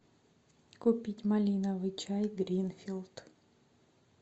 купить малиновый чай гринфилд